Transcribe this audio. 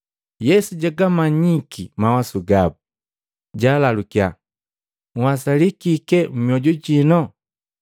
Yesu jagamanyiki mawasu gabu, jaalalukya, “Nhwasali kike mmyoju jino?